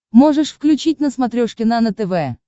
можешь включить на смотрешке нано тв